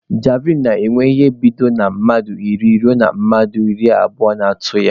Javlịn na-enwe ịhe dịka bido na mmadụ iri ruo mmadụ iri abụo na-atụ ya